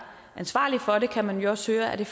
ansvarlige for det kan man jo også høre at det